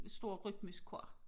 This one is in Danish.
Stor rytmisk kor